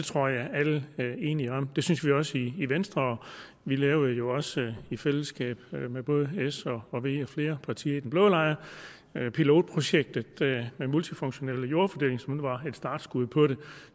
tror jeg at alle er enige om det synes vi også vi i venstre vi lavede jo også i fællesskab med både s og v og flere partier i den blå lejr pilotprojektet med multifunktionelle jordfordelingsmål som var startskud på det